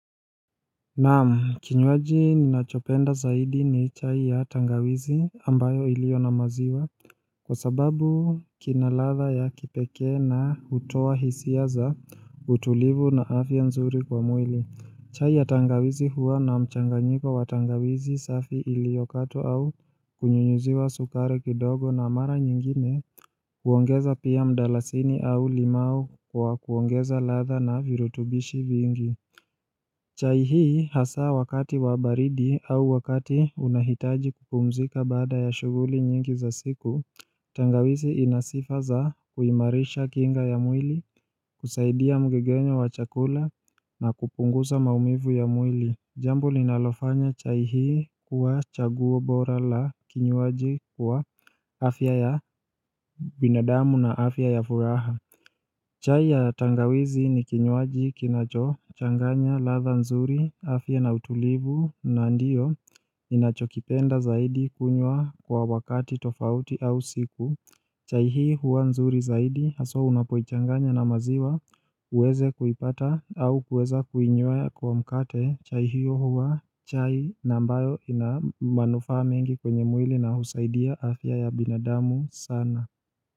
Naam, kinywaji ninachopenda zaidi ni chai ya tangawizi ambayo ilio namaziwa. Kwa sababu kina ladha ya kipekee na hutoa hisia za utulivu na afya nzuri kwa mwili. Chai ya tangawizi huwa na mchanganyiko watangawizi safi ilio katwa au kunyunyuziwa sukari kidogo na mara nyingine kuongeza pia mdalasini au limau kwa kuongeza ladha na virutubishi vingi. Chai hii hasa wakati wa baridi au wakati unahitaji kupumzika bada ya shughuli nyingi za siku Tangawisi inasifa za kuimarisha kinga ya mwili, kusaidia mgegenyo wa chakula na kupunguza maumivu ya mwili. Jambo linalofanya chai hii kuwa chaguo bora la kinywaji kuwa afya ya binadamu na afya ya furaha. Chai ya tangawizi ni kinyuaji kinacho changanya ladha nzuri afya na utulivu na ndiyo ninacho kipenda zaidi kunywa kwa wakati tofauti au siku. Chai hii huwa nzuri zaidi haswa unapoichanganya na maziwa uweze kuipata au kuweza kuinyweya kwa mkate chai hiyo huwa chai ambayo ina manufaa mengi kwenye mwili na husaidia afya ya binadamu sana.